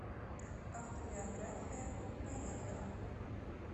автобиография поехали